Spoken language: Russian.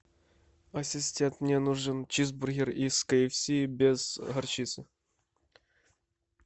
ассистент мне нужен чизбургер из кфс без горчицы